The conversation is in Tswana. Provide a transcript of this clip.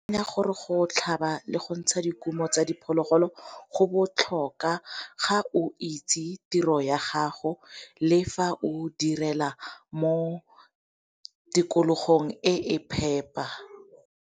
gore go tlhaba le go ntsha dikumo tsa diphologolo go botlhoka ga o itse tiro ya gago le fa o direla mo tikologong e e phepa.